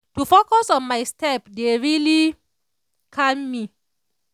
focus on my step dey really calm me.